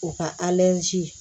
O ka